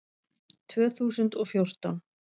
Tvö þúsund og fjórtán